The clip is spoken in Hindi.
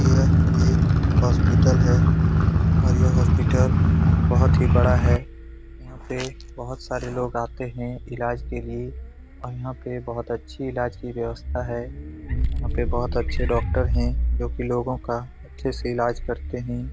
यह एक हॉस्पिटल है और यह हॉस्पिटल बहुत ही बड़ा है। यहाँ पे बहुत सारे लोग आते हैं इलाज के लिए और यहाँ पे बहुत अच्छी इलाज की व्यवस्था है। वहाँ पे बहुत अच्छे डॉक्टर हैं जोकि लोगो का अच्छे से इलाज करते हैं।